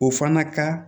O fana ka